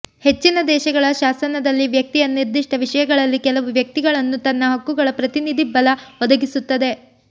ಹೆಚ್ಚಿನ ದೇಶಗಳ ಶಾಸನದಲ್ಲಿ ವ್ಯಕ್ತಿಯ ನಿರ್ದಿಷ್ಟ ವಿಷಯಗಳಲ್ಲಿ ಕೆಲವು ವ್ಯಕ್ತಿಗಳನ್ನು ತನ್ನ ಹಕ್ಕುಗಳ ಪ್ರತಿನಿಧಿ ಬಲ ಒದಗಿಸುತ್ತದೆ